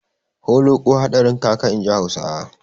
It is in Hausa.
Holoƙo hadarin kaka, inji Hausawa.